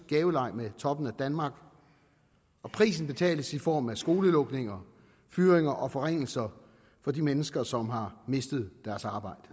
gaveleg med toppen af danmark og prisen betales i form af skolelukninger fyringer og forringelser for de mennesker som har mistet deres arbejde